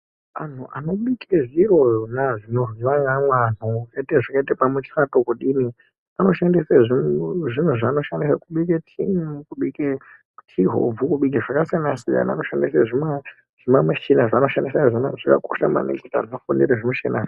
Antu anobike zviro zvona zvinoryiwa neamwe antu zvakaite pamuchato kudini, anoshandise zviro zvaanoshandisa kubike tii, kubike tii hobvu, kubike zvakasiyana-siyana, vanoshandisa zvima michina zvavanoshandisa. Izvona zvakakosha maningi zveshe naa.